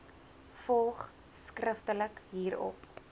volg skriftelik hierop